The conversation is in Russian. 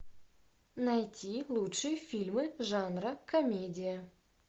найти лучшие фильмы жанра комедия